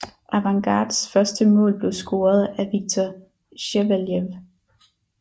Avangards første mål blev scoret af Viktor Sjeveljev